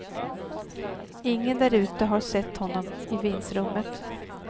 Ingen därute har sett honom i vindsrummet.